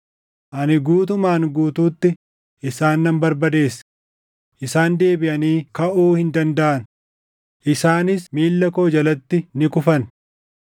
Ani guutumaan guutuutti isaan nan barbadeesse; isaan deebiʼanii kaʼuu hin dandaʼan; isaanis miilla koo jalatti ni kufan.